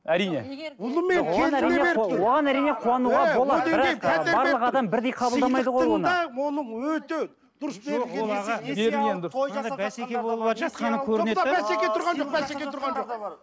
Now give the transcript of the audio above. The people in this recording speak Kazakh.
әрине ұлы мен келініне беріп тұр